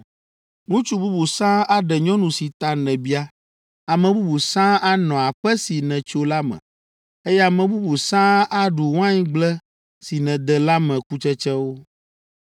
“Ŋutsu bubu sãa aɖe nyɔnu si ta nèbia, ame bubu sãa anɔ aƒe si nètso la me, eye ame bubu sãa aɖu waingble si nède la me kutsetsewo.